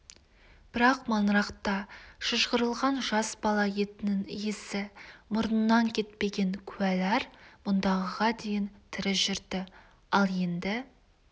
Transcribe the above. бірақ маңырақта шыжғырылған жас бала етінің иісі мұрнынан кетпеген куәлер мұндағыға дейін тірі жүрді ал енді